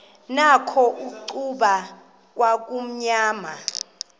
nakho icuba kwakumnyama